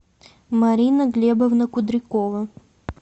марина глебовна кудрякова